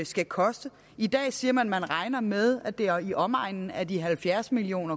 skal koste i dag siger man at man regner med det er i omegnen af de halvfjerds million